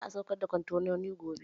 Za a saukar da kwantenonin gobe